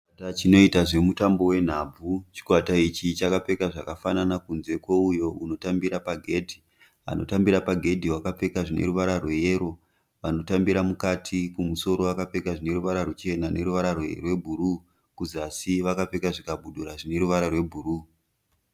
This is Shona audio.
Chikwata chinoita zvemutambo wenhabvu. Chikwata ichi chakapfeka zvakafanana kunze kweuyo anotambira pagedhi. Anotambira pagedhi wakapfeka zvine ruvara rweyero, vanotambira mukati kumusoro vakapfeka zvine ruvara ruchena neruvara rwebhuruu kuzasi vakapfeka zvikabudura zvine ruvara rwebhuruu.